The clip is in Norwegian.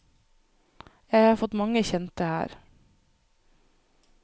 Jeg har fått mange kjente her.